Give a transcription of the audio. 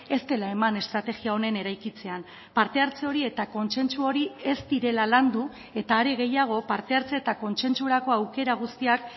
ez dela eman estrategia honen eraikitzean parte hartze hori eta kontsentsu hori ez direla landu eta are gehiago parte hartze eta kontsentsurako aukera guztiak